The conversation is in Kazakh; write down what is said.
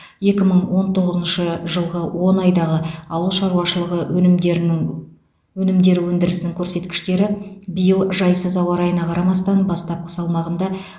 екі мың он тоғызыншы жылғы он айдағы ауыл шаруашылығы өнімдерінің өнімдері өндірісінің көрсеткіштері биыл жайсыз ауа райына қарамастан бастапқы салмағында